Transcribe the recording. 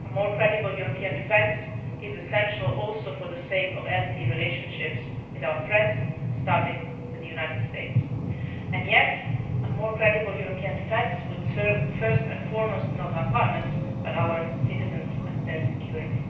Union. A more credible European defence is essential also for the sake of healthy relationships with our friends, starting with the United States, and yet a more credible European defence would serve first and foremost not our partners, but our citizens and their security.